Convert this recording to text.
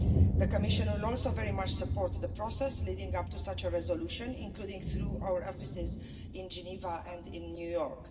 The Commission will also very much support the process leading up to such a resolution, including through our offices in Geneva and in New York.